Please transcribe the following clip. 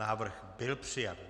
Návrh byl přijat.